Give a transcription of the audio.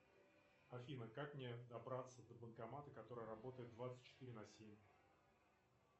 афина как мне добраться до банкомата который работает двадцать четыре на семь